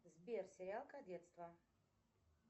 сбер сериал кадетство